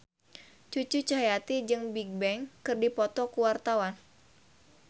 Cucu Cahyati jeung Bigbang keur dipoto ku wartawan